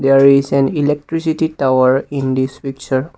there is an electricity tower in this picture.